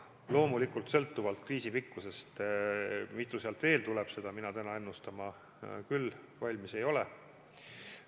Loomulikult sõltub kriisi pikkusest, mitu paketti veel tuleb, seda mina täna ennustama küll valmis ei ole.